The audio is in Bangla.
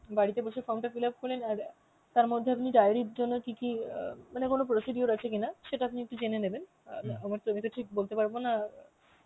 বাড়িতে বসে form টা fill up করলেন আর তার মধ্যে আপনি diary এর জন্য কি কি অ্যাঁ মানে কোন procedure আছে কিনা সেটা আপনি একটু জেনে নেবেন আর অ্যাঁ তো ঠিক বলতে পারব না